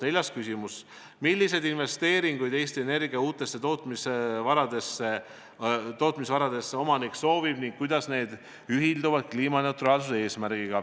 Neljas küsimus: "Milliseid investeeringuid Eesti Energia uutesse tootmisvaradesse omanik soovib ning kuidas need ühilduvad kliimaneutraalsuse eesmärgiga?